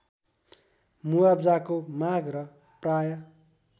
मुआब्जाको माग र प्राय